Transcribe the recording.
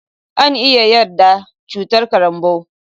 An iya yaɗa cutar karambau